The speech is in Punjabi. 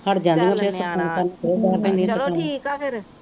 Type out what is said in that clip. ਚੱਲ ਨਿਆਣਾ ਚੱਲੋ ਠੀਕ ਆ ਫੇਰ